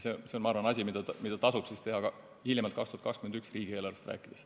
See on asi, mida tasub teha hiljemalt 2021. aasta riigieelarvest rääkides.